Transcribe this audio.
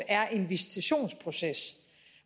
er en visitationsproces